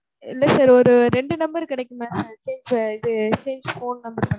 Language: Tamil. இல்ல sir ஒரு ரெண்டு number கெடைக்குமா sir?